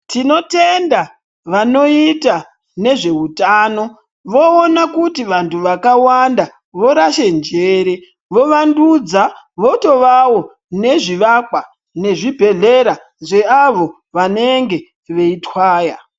Tinotenda vanoita nezveutano vanookuna kuti vantu vakawanda vorashe njere vovadudza votovawo nezvivakwa nezvibhehleya zveavo vanenge veitwaya.